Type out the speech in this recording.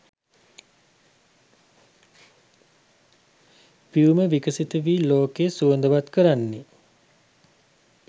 පියුම විකසිත වී ලෝකය සුවඳවත් කරන්නේ